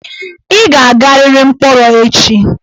Ị ga-agariri mkpọrọ echi!